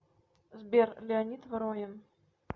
сбер леонид воронин